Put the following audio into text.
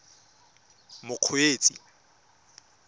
mokgweetsi